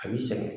A b'i sɛgɛn